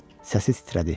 Səsi titrədi.